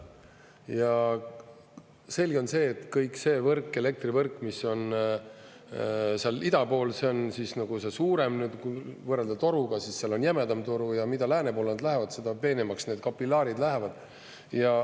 Ja selge on see, et kõik see võrk, elektrivõrk, mis on seal ida pool, see on nagu suurem, kui võrrelda toruga, siis seal on jämedam toru, ja mida lääne poole nad lähevad, seda peenemaks need kapilaarid lähevad.